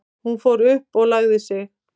Hún fór upp og lagði sig.